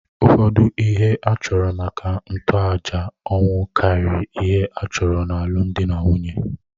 Ụfọdụ ihe a chọrọ maka ntoaja ọnwụ karịrị ihe a chọrọ n’alụmdi na nwunye.